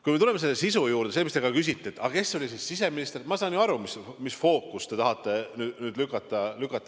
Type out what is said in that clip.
Kui me tuleme selle sisu juurde, mis te küsite, et kes oli siis siseminister – no ma saan ju aru, kuhu te fookust tahate lükata.